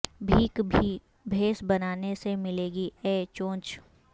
بھیک بھی بھیس بنانے سے ملے گی اے چونچ